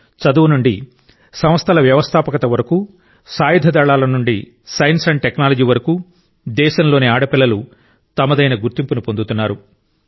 చదువు నుండి సంస్థల వ్యవస్థాపకత వరకు సాయుధ దళాల నుండి సైన్స్ టెక్నాలజీ వరకు దేశంలోని ఆడపిల్లలు తమదైన గుర్తింపును పొందుతున్నారు